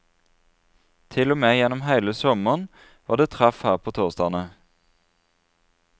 Til og med gjennom hele sommeren, var det treff her på torsdagene.